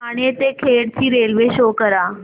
ठाणे ते खेड ची railway show करा